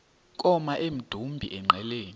koma emdumbi engqeleni